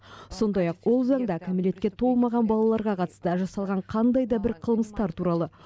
сондай ақ ол заңда кәмелетке толмаған балаларға қатысты жасалған қандай да бір қылмыстар туралы